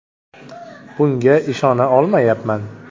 Bunga ishona olmayapman!